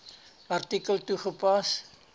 artikel toegepas